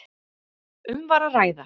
Um var að ræða